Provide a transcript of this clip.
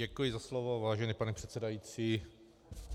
Děkuji za slovo, vážený pane předsedající.